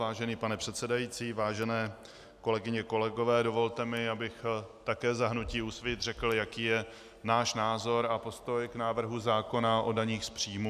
Vážený pane předsedající, vážené kolegyně, kolegové, dovolte mi, abych také za hnutí Úsvit řekl, jaký je náš názor a postoj k návrhu zákona o daních z příjmů.